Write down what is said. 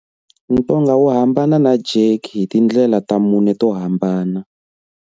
Ntonga wu hambana na jerky hi tindlela ta mune to hambana.